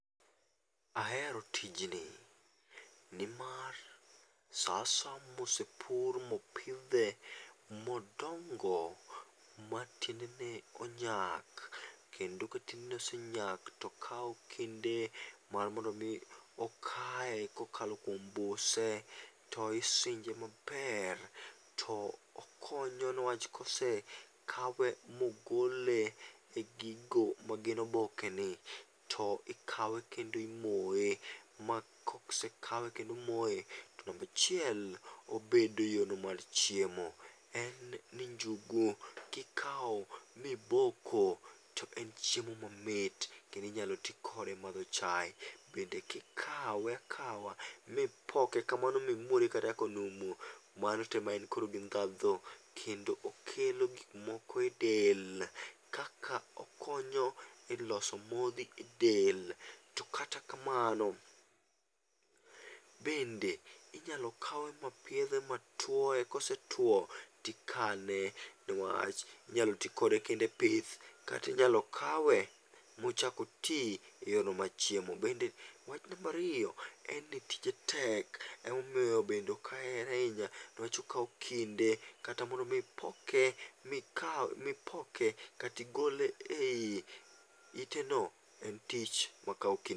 Ahero tijni, nimar sa asaya mosepur mopidhe, modongo matiendene onyak kendo ka tiendene osenyak to okawo kinde mondo mi okaye kokalo kuom buse to isinje maber, to okonyo niwach ka osekawe ma ogole egigo magin obokeni, to ikawe kendo imoye ma kosekawe kendo omoye to namba achiel, obedo yorno mar chiemo. En ni njugu kikawo miboko to enchiemo mamit kendo inyalo ti kode emadho chae. Bende kikawe akawa mipoke kamano mimuode konumu, mano to ema koro en gi ndhadhu, kendo okelo gik moko edel kaka okonyo eloso modhi edel. To kata kamano bende inyalo kawe mapiedhe matuoye, kosetwo to ikane newach inyalo ti kode kendo e pith kata inyalo kawe mochak oti eyorno mar chiemo. Wach namba ariyo, en ni tije tek emomiyo bende ok ahere ahinya niwach okawo kinde kata mondo mi ipoke mikawe mipoke kata igole ei iteno en tich makawo kinde.